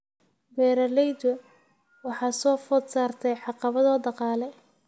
Beeralayda waxaa soo food saartay caqabado dhaqaale.